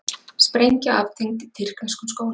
Sprengja aftengd í tyrkneskum skóla